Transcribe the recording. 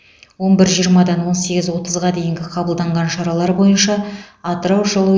он бір жиырмадан он сегіз отызға дейінгі қабылданған шаралар бойынша атырау жылу